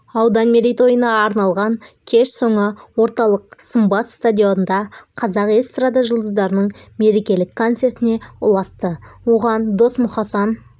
аудан мерейтойына арналған кеш соңы орталық сымбат стадионында қазақ эстрада жұлдыздарының мерекелік концертіне ұласты оған досмұқасан